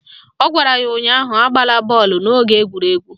Ọ gwara ya ụnyaahụ "Agbala bọọlụ n'oge egwuregwu"!